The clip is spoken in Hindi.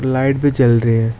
लाइट भी जल रही है।